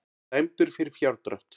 Dæmdur fyrir fjárdrátt